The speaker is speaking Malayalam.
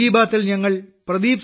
മൻ കി ബാത്തിൽ ഞങ്ങൾ ശ്രീ